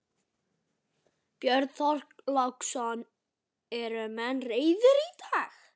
Björn Þorláksson: Eru menn reiðir í dag?